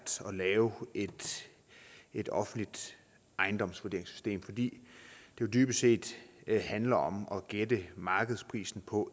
at lave et offentligt ejendomsvurderingssystem fordi det jo dybest set handler om at gætte markedsprisen på